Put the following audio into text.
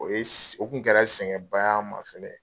O ye o tun kɛra sɛngɛn ba y'an ma.